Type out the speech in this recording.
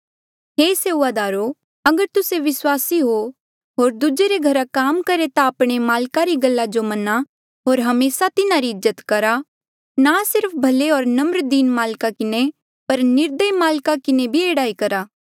हे सेऊआदारो अगर तुस्से विस्वासी हो होर दूजे रे घरा काम करहे ता आपणे माल्का री गल्ला जो मन्हा होर हमेसा तिन्हारी इज्जत करहा ना सिर्फ भले होर नम्र दीन माल्का किन्हें पर निर्दयी माल्का किन्हें भी एह्ड़ा ही करहा